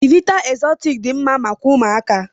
Chivita exortic dị mma maka ụmụaka.